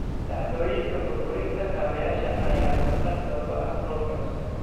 Dhacdooyinka burburinta kaabayaasha ayaa kordhay sababtoo ah roobab culus.